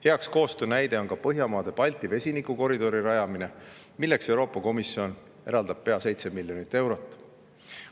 Hea koostöö näide on Põhjamaade-Balti vesinikukoridori rajamine, milleks Euroopa Komisjon eraldab pea 7 miljonit eurot.